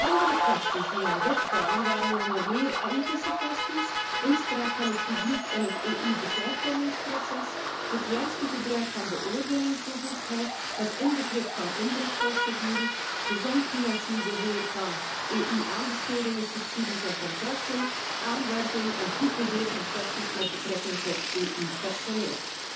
Andere kwesties die aan bod kwamen, waren onder meer ethische kwesties, inspraak van het publiek in het EU besluitvormingsproces, het juiste gebruik van beoordelingsbevoegdheid met inbegrip van inbreukprocedures, gezond financieel beheer van EU aanbestedingen, subsidies en —contracten, aanwerving en goed beheer van kwesties met betrekking tot EU personeel.